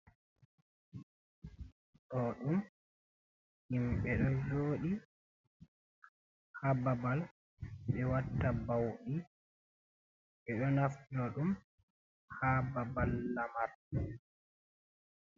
Do ɗum himɓe do jodi ha ɓaɓal be watta baudi, ɓe do naftira dum ha ɓaɓal lamar.